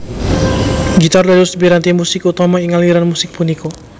Gitar dados piranti musik utama ing aliran musik punika